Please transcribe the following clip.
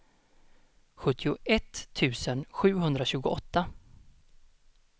sjuttioett tusen sjuhundratjugoåtta